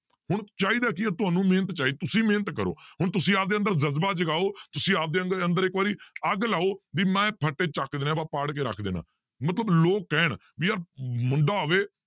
ਹੁਣ ਚਾਹੀਦਾ ਕੀ ਹੈ ਤੁਹਾਨੂੰ ਮਿਹਨਤ ਚਾਹੀ~ ਤੁਸੀਂ ਮਿਹਨਤ ਕਰੋ ਹੁਣ ਤੁਸੀਂ ਆਪਦੇ ਅੰਦਰ ਜ਼ਜ਼ਬਾ ਜਗਾਓ ਤੁਸੀਂ ਆਪਦੇ ਅੰਦਰ ਅੰਦਰ ਇੱਕ ਵਾਰੀ ਅੱਗ ਲਾਓ ਵੀ ਮੈਂ ਫਟੇ ਚੱਕ ਦੇਣੇ ਆਪਾਂ ਪਾੜ ਕੇ ਰੱਖ ਦੇਣਾ ਮਲਤਬ ਲੋਕ ਕਹਿਣ ਮੁੰਡਾ ਹੋਵੇ